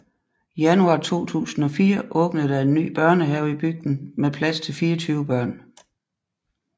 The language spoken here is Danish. Januar 2004 åbnede der en ny børnehave i bygden med plads til 24 børn